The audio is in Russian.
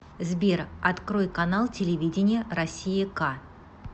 сбер открой канал телевидения россия к